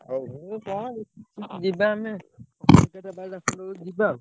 ହଉ ହଉ କଣ ଯିବା ଆମେ ଆଉ ଯିବା ଆଉ।